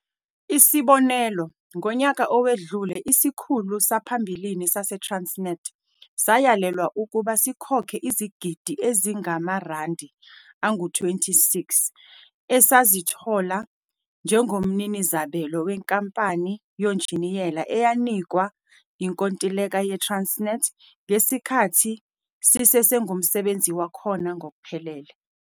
Isibonelo, ngonyaka owedlule isikhulu saphambilini saseTransnet sayalelwa ukuba sikhokhe izigidi ezingama-R26 esazithola njengomninizabelo wenkampani yonjiniyela eyanikwa inkontileka ye-Transnet ngesikhathi sisesengumsebenzi wakhona ngokuphelele.